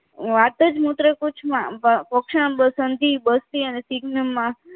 વાતજ મૂતકુશમાં ઔક્ષણમ બસંજી બસ્તી અને સિઘ્નમમાં